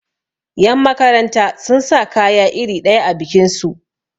yanmakaranta sun sa kaya iri ɗaya a bikinsu